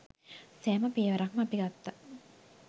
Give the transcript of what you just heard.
සෑම පියවරක්ම අපි ගත්තා.